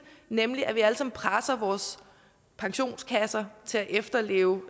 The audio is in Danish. nemlig at vi alle sammen presser vores pensionskasser til at efterleve